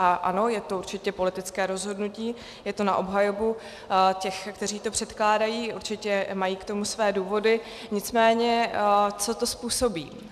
A ano, je to určitě politické rozhodnutí, je to na obhajobu těch, kteří to předkládají, určitě mají k tomu své důvody - nicméně, co to způsobí?